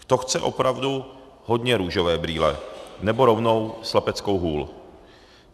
To chce opravdu hodně růžové brýle, nebo rovnou slepeckou hůl.